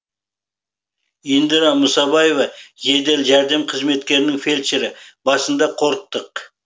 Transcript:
индира мұсабаева жедел жәрдем қызметінің фельдшері басында қорықтық